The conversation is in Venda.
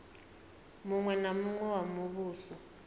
muṅwe na muṅwe wa muvhuso